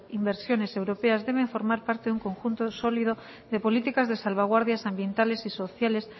inversiones europeas deben formar parte de un conjunto sólido de políticas de salvaguardias ambientales y sociales